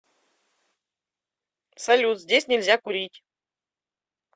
салют здесь нельзя курить